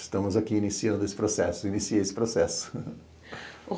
Estamos aqui iniciando esse processo, iniciei esse processo.